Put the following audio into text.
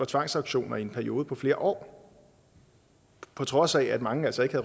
tvangsauktioner i en periode på flere år på trods af at mange altså ikke